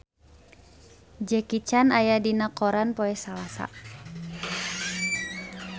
Jackie Chan aya dina koran poe Salasa